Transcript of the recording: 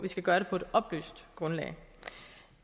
skal gøre det på et oplyst grundlag